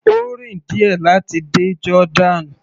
Ó rìn díẹ̀ láti dé Jordan.